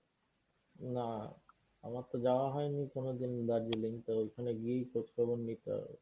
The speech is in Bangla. না আমার তো যাওয়া হয়নি কোনোদিন দার্জিলিং তো ওইখানে গিয়েই খোঁজখবর নিতে হবে।